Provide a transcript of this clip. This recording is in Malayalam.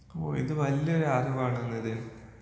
ഓ ഇത് നല്ലൊരു അറിവാണല്ലൊ ഇത്.